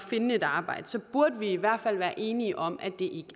finde et arbejde så burde vi i hvert fald være enige om at det